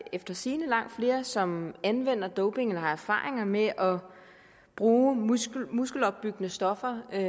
efter sigende langt flere som anvender doping eller har erfaringer med at bruge muskelopbyggende stoffer end